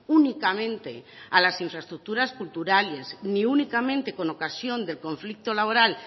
únicamente a las infraestructuras culturales ni únicamente con ocasión del conflicto laboral